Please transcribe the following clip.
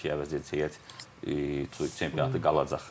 Ki əvəzedici heyət çempionatı qalacaq.